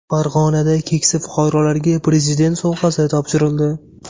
Farg‘onada keksa fuqarolarga prezident sovg‘asi topshirildi .